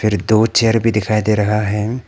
दो चेयर भी दिखाई दे रहा है।